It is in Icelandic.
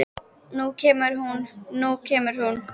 Nú kemur hún, nú kemur hún!